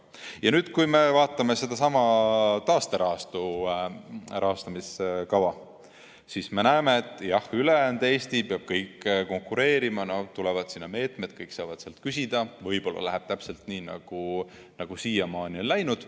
Kui me vaatame taasterahastu rahastamiskava, siis me näeme, et jah, ülejäänud Eesti peab konkureerima, tulevad meetmed, kõik saavad sealt küsida ja võib-olla läheb täpselt nii, nagu siiamaani on läinud.